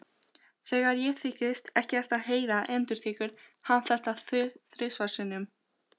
Þegar ég þykist ekkert heyra endurtekur hann þetta þrisvar sinnum.